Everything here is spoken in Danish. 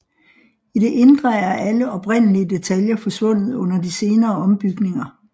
I det indre er alle oprindelige detaljer forsvundet under de senere ombygninger